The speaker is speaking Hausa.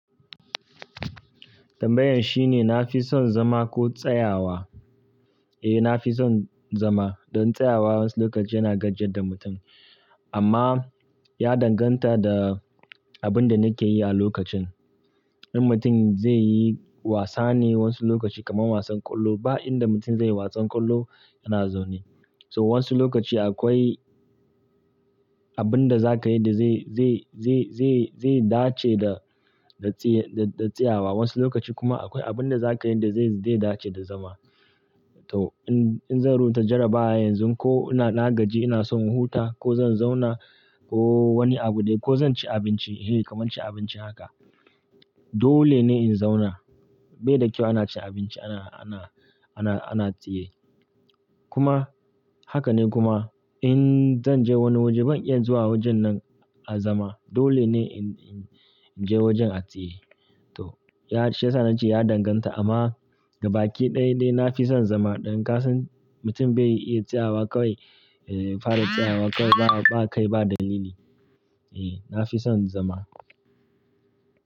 Tambayan shine na fi son zama ko tsayawa? Eh, na fi son zama. Don tsayawa wasu lokaci yana gajiyar da mutum amma ya danganta da abin da nake yi a lokacin. In mutum zai yi wasa ne wasu lokaci kamar wasan ƙwallo, ba inda mutum zai yi wasan ƙwallo yana zaune. So wasu lokaci akwai abin da za ka yi da zai, zai, zai, zai, zai dace da, da tsaye, da, da tsayawa. Wasu lokaci kuma akwai abin da za ka yi da zai, zai dace da zama. To in, in zan rubuta jarabawa yanzu ko ina, ina gaji ina son huta ko zan zauna ko wani abu dai ko zan ci abinci, eh kamar ci abinci haka. Dole ne in zauna. Bai da kyau ana ci abinci ana, ana, ana, ana tsaye. Kuma haka ne kuma in zan je wani waje ban iya zuwa wajen nan a zama. Dole ne in, in, in je wajen a tsaye. To ya, shi ya sa na ce ya danganta amma gabaki ɗaya dai na fi son zama. Don ka san mutum bai iya tsayawa kawai, eh fara tsayawa kawai ba, ba kai ba dalili. Eh, na fi son zama.